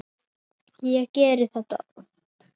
Ég geri þetta oft.